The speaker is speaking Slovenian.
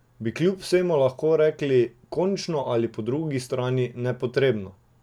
Bi kljub vsemu lahko rekli končno ali po drugi strani nepotrebno?